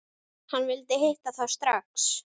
Hann vildi hitta þá strax.